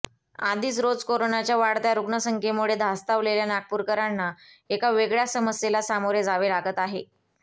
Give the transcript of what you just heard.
आधीच रोज कोरोनाच्या वाढत्या रुग्ण संख्येमुळे धास्तावलेल्या नागपूरकरांना एका वेगळ्या समस्येला सामोरे जावे लागत आहे